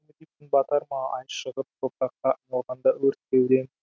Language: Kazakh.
күн батар ма ай шығып топыраққа айналғанда өрт кеудем